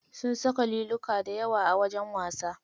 Sun saka liluka dayawa a wajen wasa.